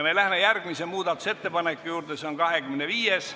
Me läheme järgmise muudatusettepaneku juurde, see on 25.